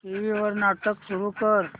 TV वर नाटक सुरू कर